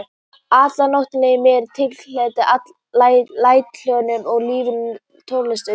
Atriði Nóttin líður með tilheyrandi næturhljóðum og ljúfri tónlist undir.